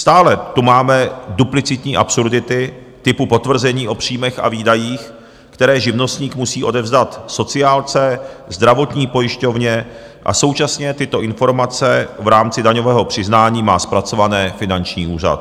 Stále tu máme duplicitní absurdity typu potvrzení o příjmech a výdajích, které živnostník musí odevzdat sociálce, zdravotní pojišťovně a současně tyto informace v rámci daňového přiznání má zpracované finanční úřad.